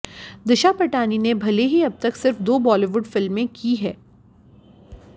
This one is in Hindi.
दिशा पटानी ने भले ही अब तक सिर्फ दो बॉलीवुड फिल्में की हैं